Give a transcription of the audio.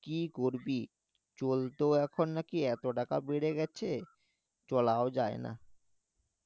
কি করবি চলতে এখন নাকি এত টাকা বেড়ে গেছে চলাই যায়না